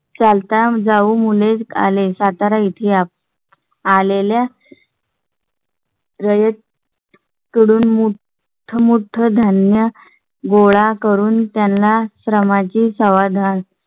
चालता जाऊन मुले आले. सातारा येथे आलेल्या . रयत कडून मोठमोठ्या धान्य गोळा करून त्यांना श्रमाची सवाधान.